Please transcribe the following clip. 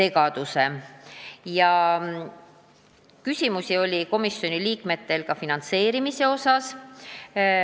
Komisjoni liikmetel oli küsimusi ka finantseerimise kohta.